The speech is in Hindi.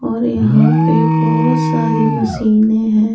और यहां पे बहुत सारी मशीनें हैं ।